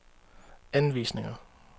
anvisninger